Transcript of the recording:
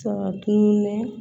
Saga tununnen